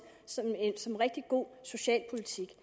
som rigtig god socialpolitik